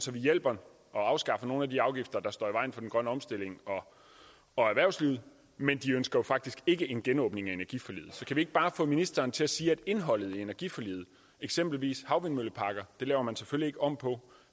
vi hjælper og afskaffer nogle af de afgifter der står i vejen for den grønne omstilling og erhvervslivet men de ønsker faktisk ikke en genåbning af energiforliget så kan vi ikke bare få ministeren til at sige at indholdet i energiforliget eksempelvis hvad havvindmølleparker laver man selvfølgelig ikke om på